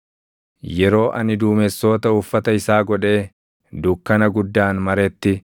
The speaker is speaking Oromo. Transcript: Yeroo ani duumessoota uffata isaa godhee dukkana guddaan maretti,